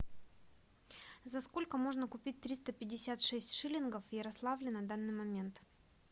за сколько можно купить триста пятьдесят шесть шиллингов в ярославле на данный момент